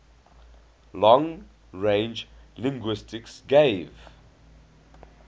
long range linguistics gave